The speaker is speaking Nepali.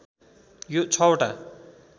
यो ६ वटा